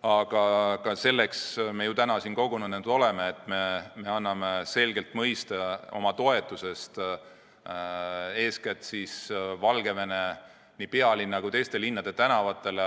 Aga selleks me ju täna siin kogunenud oleme, et anda selgelt mõista oma toetusest eeskätt Valgevene pealinna kui ka teiste linnade tänavatele